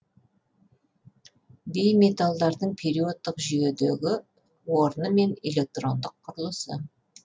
бейметалдардың периодтық жүйедегі орны мен электрондық құрылысы